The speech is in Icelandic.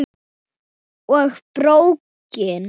Og BRÓKIN!